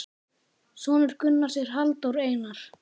Sonur Gunnars er Halldór Einar.